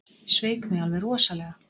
Sveik mig alveg rosalega.